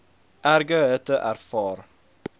erge hitte ervaar